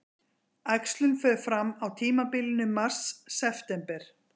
Æxlun fer fram á tímabilinu mars-september.